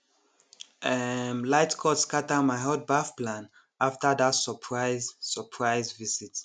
um light cut scatter my hot baff plan after that surprise surprise visit